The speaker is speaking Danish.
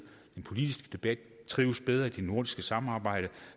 den politiske debat trives bedre i det nordiske samarbejde